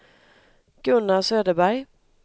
Gunnar Söderberg